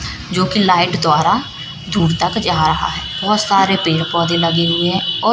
जो की लाइट द्वारा दूर तक जा रहा है बहोत सारे पेड़ पौधे लगे हुए हैं और--